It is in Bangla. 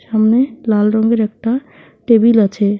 সামনে লাল রঙের একটা টেবিল আছে।